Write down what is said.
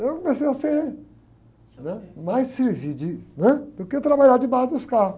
Eu comecei a ser, né? Mais servir de, né? Do que trabalhar debaixo dos carros.